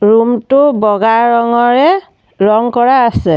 Room টো বগা ৰঙৰে ৰঙ কৰা আছে।